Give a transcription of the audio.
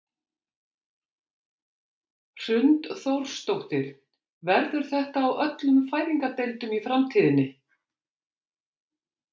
Hrund Þórsdóttir: Verður þetta á öllum fæðingardeildum í framtíðinni?